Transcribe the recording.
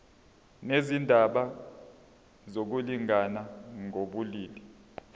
nezindaba zokulingana ngokobulili